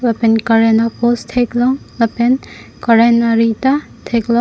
lapen current apost theklong lapen current ari ta theklong.